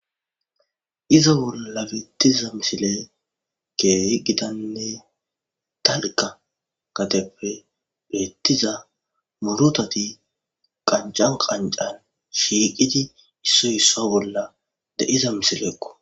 iza bolla bettiza misile ke yeggidanne talka kateppe deettiza murotati qancan qancan shiiqidi issoy isso bolla de7iza misile ekko